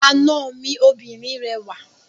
Àna mi obìnrin rẹwà.